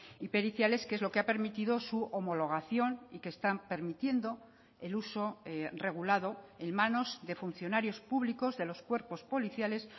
y periciales que es lo que ha permitido su homologación y que están permitiendo el uso regulado en manos de funcionarios públicos de los cuerpos policiales